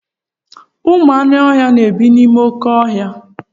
Ụmụ anụ ọhịa na-ebi n'ime oké ọhịa.